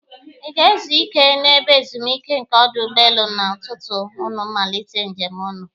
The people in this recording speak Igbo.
Ị ga- ezu ike n'ebe ezumike nke ọdụ ụgbọelu a tutu unu malite njem unu?